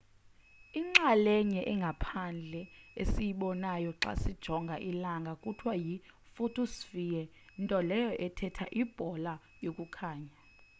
inxalenye engaphandle esiyibonayo xa sijonga ilnaga kuthiwa yi-photosphere nto leyo ethetha ibhola yokukhanya